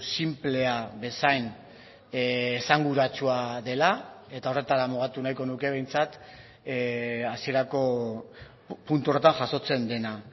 sinplea bezain esanguratsua dela eta horretara mugatu nahiko nuke behintzat hasierako puntu horretan jasotzen dena